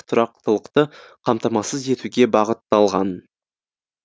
тұрақтылықты қамтамасыз етуге бағытталған